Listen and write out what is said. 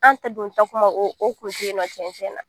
An ta don in na tiɲɛ tiɲɛ na